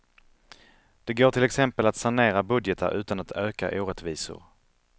Det går till exempel att sanera budgetar utan att öka orättvisor.